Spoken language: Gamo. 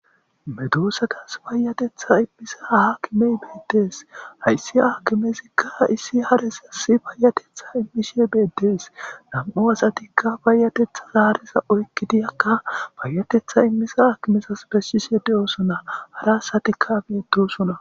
Medoossatas bayatetha immisa hhakimey beetdees hayssi aakimezikka issi haresasi bayatetha immishe beedees nam'u asatikka bayatetha zaareza oykkidiyakka bayatetha immisa hakimezas pessise de'oosona hara asatikka geetosona.